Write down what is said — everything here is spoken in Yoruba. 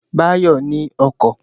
Báyọ̀ ní ọkọ̀